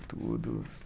Tudo.